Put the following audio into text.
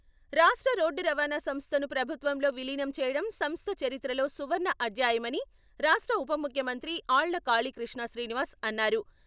రాష్ట్ర రోడ్డు రవాణా సంస్థను ప్రభుత్వంలో విలీనం చేయడం సంస్థ చరిత్రలో సువర్ణ అద్యాయమని రాష్ట్ర ఉప ముఖ్యమంత్రి ఆళ్ళ కాళీకృష్ణ శ్రీనివాస్ అన్నారు.